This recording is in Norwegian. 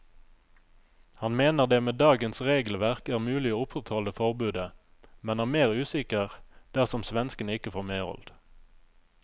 Han mener det med dagens regelverk er mulig å opprettholde forbudet, men er mer usikker dersom svenskene ikke får medhold.